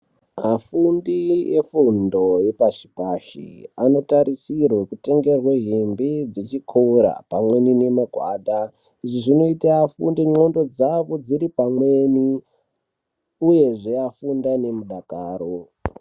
Afundi efundo yepashi pashi anotarisirwa kutengerwe hembe dzechikora pamweni nemagwada izvi zvinoita afunde ndxondo dzavo dzoripamweni uyezve afunde anemudakaro.